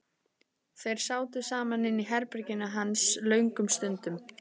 Þeir sátu saman inni í herberginu hans löngum stundum.